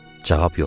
cavab yoxdur.